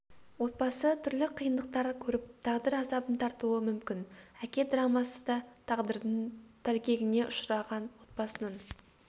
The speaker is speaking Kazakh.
отбасы түрлі қиындықтар көріп тағдыр азабын тартуы мүмкін әке драмасы да тағдырдың тәлкегіне ұшыраған отбасының